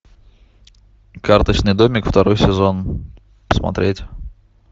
карточный домик второй сезон смотреть